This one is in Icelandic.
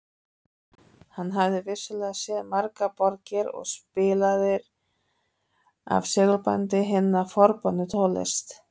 Hann hafði vissulega séð margar borgir og spilaði af segulbandi hina forboðnu tónlist